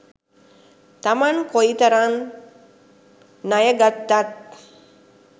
තමන් කොයි තරං ණය ගත්තත්